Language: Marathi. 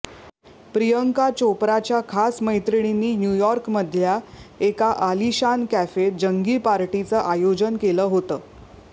प्रियंका चोप्राच्या खास मैत्रीणींनी न्यूयॉर्कमधल्या एका आलिशान कॅफेत जंगी पार्टीचं आयोजन केलं होतं